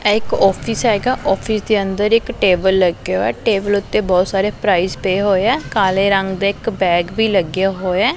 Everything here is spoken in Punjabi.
ਇਹ ਇੱਕ ਔਫਿਸ ਹੈਗਾ ਔਫਿਸ ਦੇ ਅੰਦਰ ਇੱਕ ਟੇਬਲ ਲੱਗਿਆ ਹੋਇਆ ਟੇਬਲ ਓੱਤੇ ਬਹੁਤ ਸਾਰੇ ਪ੍ਰਾਇਜ਼ ਪਏ ਹੋਏ ਹੈਂ ਕਾਲੇ ਰੰਗ ਦਾ ਇਕ ਬੈਗ ਵੀ ਲੱਗਿਆ ਹੋਇਆ।